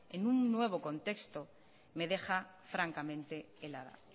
en un nuevo contexto me deja francamente helada